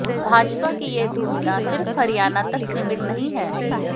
भाजपा की यह दुविधा सिर्फ हरियाणा तक सीमित नहीं है